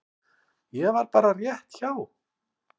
Ég var bara rétt hjá.